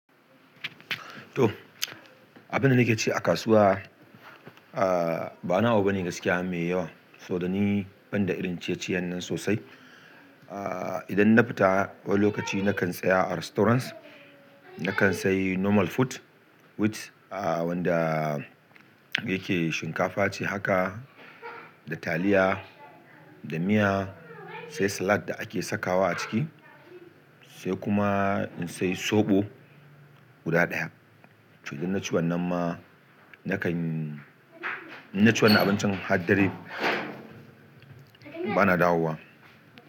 To, abinda nake ci a kasuwa, ba wani abu bane gaskiya mai yawa, saboda ni banda irin ciye-ciyen nan sosai. Idan na fita wani lokaci nakan tsaya a restaurants, nakan sayi normal food which wanda yake shinkafa ce haka da taliya, da miya, sai salad da ake sakawa a ciki, sai kuma in sayi soɓo guda daya. Toh idan naci wannan ma nakan, in naci wannan abincin har dare ba na dawowa.